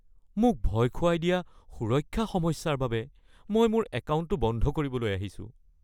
মোক ভয় খুৱাই দিয়া সুৰক্ষা সমস্যাৰ বাবে মই মোৰ একাউণ্টটো বন্ধ কৰিবলৈ আহিছো (গ্ৰাহক)